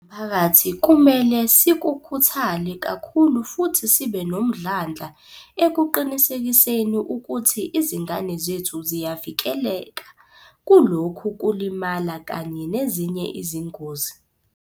Njengomphakathi, kumele sikhuthale kakhulu futhi sibe nomdlandla ekuqinisekiseni ukuthi izingane zethu ziyavikeleka kulokhu kulimala kanye nezinye izingozi.